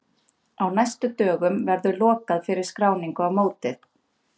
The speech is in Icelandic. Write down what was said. Á næstu dögum verður lokað fyrir skráningu á mótið.